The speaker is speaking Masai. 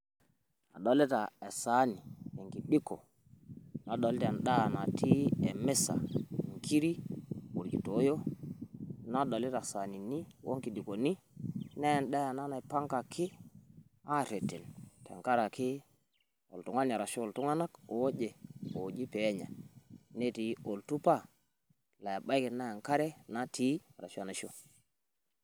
Adolita esaani o nkijiko, nadolita endaa natii emisa, nkirik olkitowoyo nadolita saanini o nkijikoni naa endaa ena naipangaki aareten tenkaraki oltung`ani arashu iltung`anak ooje ooji pee enya. Netii oltupa laa ebaiki naa enkare natii arashu enaisho.